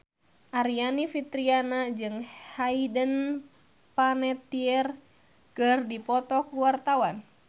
Aryani Fitriana jeung Hayden Panettiere keur dipoto ku wartawan